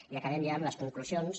i acabem ja amb les conclusions